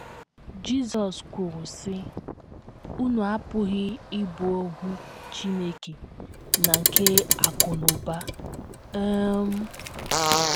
Jizọs kwuru, sị: “ Unu apụghị ịbụ ohu Chineke na nke Akụ̀ na Ụba. um ”